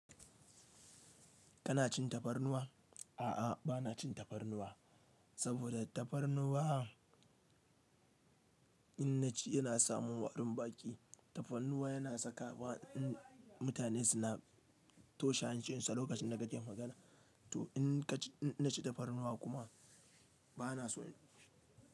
Kana cin tafarnuwa? A'a, ba na cin tafarnuwa saboda tafarnuwa in na ci yana samin warin baki. Tafarnuwa yana saka mutane suna toshe hancin sa lokacin da kake magana. To in na ci tafarnuwa kuma ba na so.